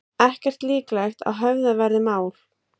Ekki líklegt að höfðað verði mál